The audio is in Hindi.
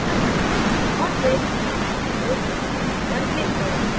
और फिर नीचे दाहिनी ओर ok button पर click करें